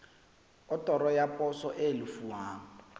otoro ya poso e lefuwang